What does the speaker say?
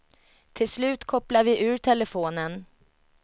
Till slut kopplade vi ur telefonen.